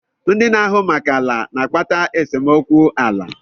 ndị na-ahụ maka ala na-akpata esemokwu ala.